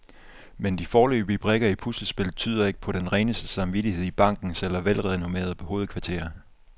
Men de foreløbige brikker i puslespillet tyder ikke på den reneste samvittighed i bankens ellers velrenommerede hovedkvarter.